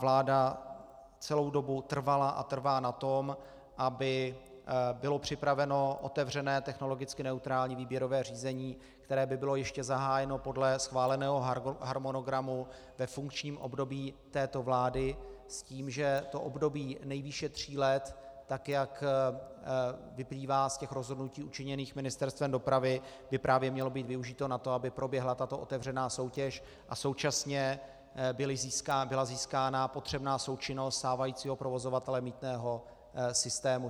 Vláda celou dobu trvala a trvá na tom, aby bylo připraveno otevřené technologicky neutrální výběrové řízení, které by bylo ještě zahájeno podle schváleného harmonogramu ve funkčním období této vlády, s tím, že to období nejvýše tří let, tak jak vyplývá z těch rozhodnutí učiněných Ministerstvem dopravy, by právě mělo být využito na to, aby proběhla tato otevřená soutěž a současně byla získána potřebná součinnost stávajícího provozovatele mýtného systému.